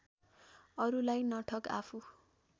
अरूलाई नठग आफू